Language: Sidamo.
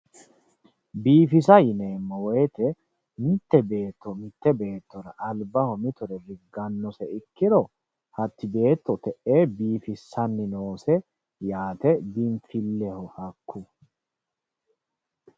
Biifisa yineemmo woyte mite beetto mite beettora albaho mittore riganose ikkiro hati beetto te'e biifisanni noose yaate, biinfileho hakku.